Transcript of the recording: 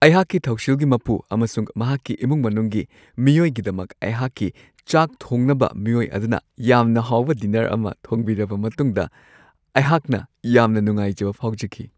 ꯑꯩꯍꯥꯛꯀꯤ ꯊꯧꯁꯤꯜꯒꯤ ꯃꯄꯨ ꯑꯃꯁꯨꯡ ꯃꯍꯥꯛꯀꯤ ꯏꯃꯨꯡ-ꯃꯅꯨꯡꯒꯤ ꯃꯤꯑꯣꯏꯒꯤꯗꯃꯛ ꯑꯩꯍꯥꯛꯀꯤ ꯆꯥꯛ ꯊꯣꯡꯅꯕ ꯃꯤꯑꯣꯏ ꯑꯗꯨꯅ ꯌꯥꯝꯅ ꯍꯥꯎꯕ ꯗꯤꯅꯔ ꯑꯃ ꯊꯣꯡꯕꯤꯔꯕ ꯃꯇꯨꯡꯗ ꯑꯩꯍꯥꯛꯅ ꯌꯥꯝꯅ ꯅꯨꯡꯉꯥꯏꯖꯕ ꯐꯥꯎꯖꯈꯤ ꯫